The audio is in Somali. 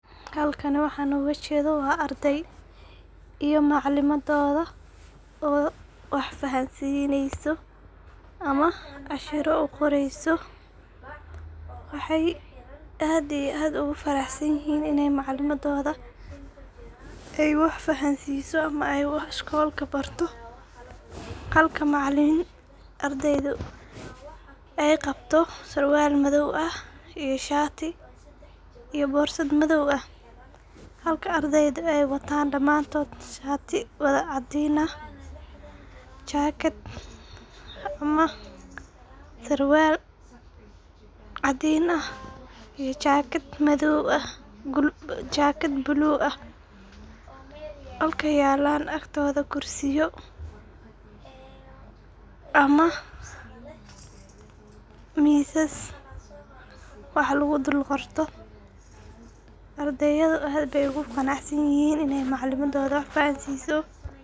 Hakani waxan oga jedoo waa arday iyo macalimadodha , oo wax fahansineyso ama cashiro u qoreyso ,waxay aad iyo aad ugu farahsanyihin ini macalimadoda ay wax fahansiso ama wax barto, halka macalin ardayda ay qabto surwal madow ah iyo shati iyo borsad madow ah .Halka ardayda ay wadaa wataan damantod shati wada cadin ah ,jakad ama surwal cadin ah iyo jakad blue ah ,halka yelan agtoda kursiya ama misas wax lagu dhul qorto, ardayadha aad bey ogu qanac sanyihin iney macalimadodha wax fahansiso.